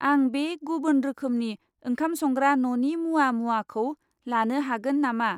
आं बे गुबुन रोखोमनि ओंखाम संग्रा न'नि मुवा मुवाखौ लानो हागोन नामा?